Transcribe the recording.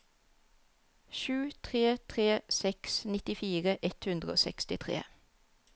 sju tre tre seks nittifire ett hundre og sekstitre